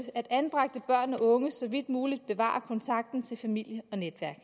at anbragte børn og unge så vidt muligt bevarer kontakten til familie og netværk